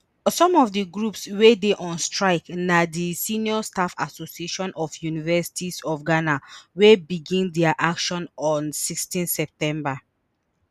some of di groups wey dey on strike na di senior staff association of universities of ghana wey begin dia action on sixteen september